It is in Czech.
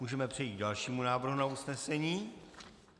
Můžeme přejít k dalšímu návrhu na usnesení.